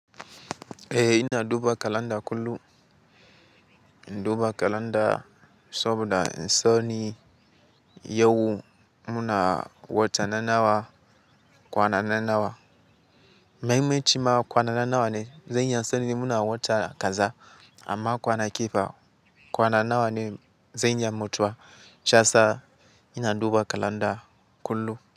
Eh ina duba kalanda kullum, in duba kalanda saboda in sani yau muna wata na nawa, kwana na nawa. Mai maci ma kwana na nawa ne, zan iya sanin muna wata kaza amma kwanaki fa kwana nawa ne zan iya mutuwa. Shiyasa ina duba kalanda kullum.